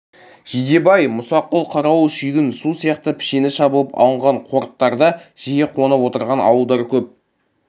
жидебай мұсақұл қарауыл шүйгін су сияқты пішені шабылып алынған қорықтарда жиі қонып отырған ауылдар көп